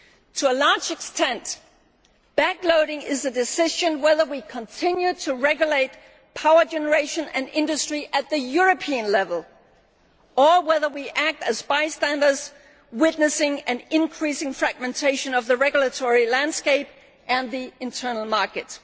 To a large extent, backloading is the decision about whether we continue to regulate power generation and industry at European level or whether we act as bystanders witnessing an increasing fragmentation of the regulatory landscape and the internal market.